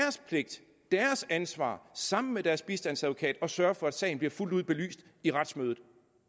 ansvar sammen med deres bistandsadvokat at sørge for at sagen bliver fuldt ud belyst i retsmødet